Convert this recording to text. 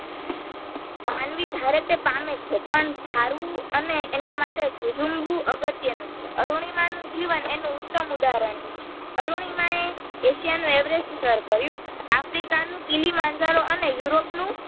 માનવી ધારે તે પામેછે પણ ધારવું અને એનમાટે જજુમવું અગત્યનું છે અરુણીમાંનું જીવન એનું ઉત્તમ ઉદાહરણ છે. અરુણીમાએ એશિયાનું એવરેસ્ટ સર કર્યું, આફ્રિકાનું કીલીમાંજારો અને યુરોપ નું